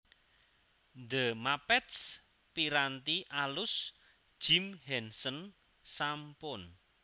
The Muppets piranti alus Jim Henson sampun